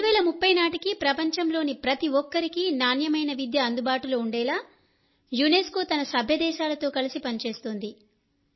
2030 నాటికి ప్రపంచంలోని ప్రతి ఒక్కరికీ నాణ్యమైన విద్య అందుబాటులో ఉండేలా యునెస్కో తన సభ్య దేశాలతో కలిసి పనిచేస్తోంది